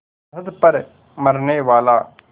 सरहद पर मरनेवाला